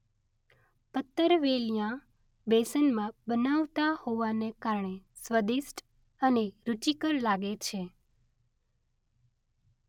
પત્તરવેલીયાં બેસનમાં બનાવાતાં હોવાને કારણે સ્વદિષ્ટ અને રુચિકર લાગે છે